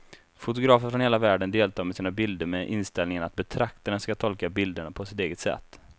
Fotografer från hela världen deltar med sina bilder med inställningen att betraktaren ska tolka bilderna på sitt eget sätt.